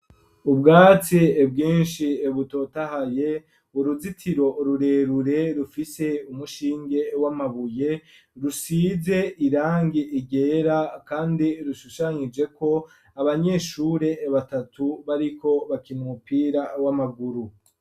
Ubwatsi bwinshi butotahaye uruzitiro rurerure rufise umushinge w'amabuye rusize irangi ryera kandi rushushanyijeko abanyeshure batatu bariko bakina umupira w'amaguru.